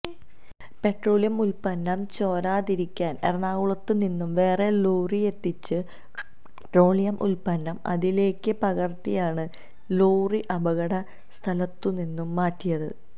petroleum ഉല്പ്പന്നം ചോരാതിരിക്കാന് എറണാകുളത്തുനിന്നും വേറെ ലോറിയെത്തിച്ച് പെട്രോളിയം ഉത്പന്നം അതിലേക്ക് പകര്ത്തിയാണ് ലോറി അപകട സ്ഥലത്തുനിന്നും മാറ്റിയത്